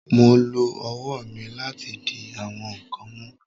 Mo lo ọwọ mi lati di awọn nkan mu